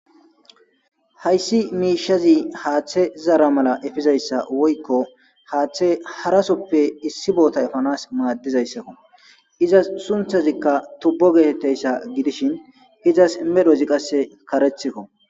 hayssi miishazi haaththe zaara mala efizayssa woykko haaththe harasoppe issi boota efanas maaddizayssakko izas sunthazikka tubbo geetetteyssa gidishin izas medhozi qasse karethikko